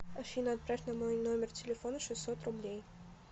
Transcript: афина отправь на мой номер телефона шестьсот рублей